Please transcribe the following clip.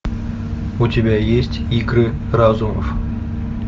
у тебя есть игры разумов